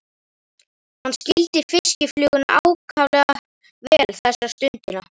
Hann skildi fiskifluguna ákaflega vel þessa stundina.